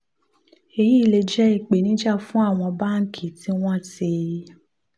èyí lè jẹ́ ìpèníjà fún àwọn báńkì tí wọ́n ti